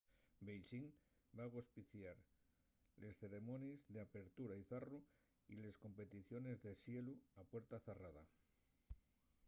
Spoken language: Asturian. beixín va agospiar les ceremonies d’apertura y zarru y les competiciones de xelu a puerta zarrada